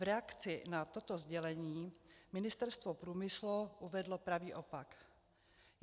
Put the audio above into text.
V reakci na toto sdělení Ministerstvo průmyslu uvedlo pravý opak.